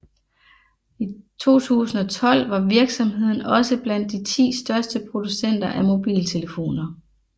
I 2012 var virksomheden også blandt de 10 største producenter af mobiltelefoner